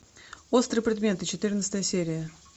острые предметы четырнадцатая серия